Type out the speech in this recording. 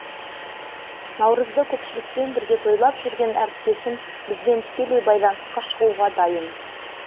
наурызды көпшілікпен бірге тойлап жүрген әріптесім бізбен тікелей байланысқа шығуға дайын